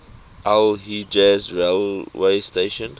al hejaz railway station